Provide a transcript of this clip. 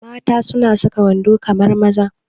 Mata suna saka wando kamar maza